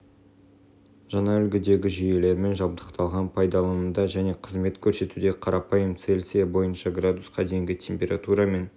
жаңа үлгідегі жүйелермен жабдықталған пайдалануда және қызмет көрсетуде қарапайым цельсия бойынша градусқа дейінгі температура мен